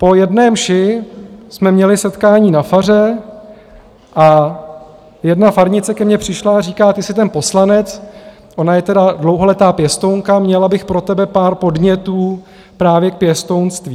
Po jedné mši jsme měli setkání na faře a jedna farnice ke mně přišla a říká: Ty jsi ten poslanec - ona je tedy dlouholetá pěstounka - měla bych pro tebe pár podnětů právě k pěstounství.